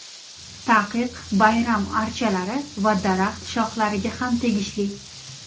Taqiq bayram archalari va daraxt shohlariga ham tegishli.